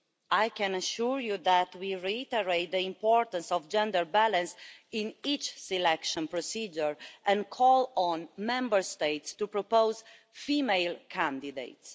I can assure you that we reiterate the importance of gender balance in each selection procedure and call on Member States to propose female candidates.